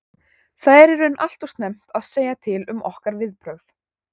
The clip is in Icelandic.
Það er í raun allt og snemmt að segja til um okkar viðbrögð.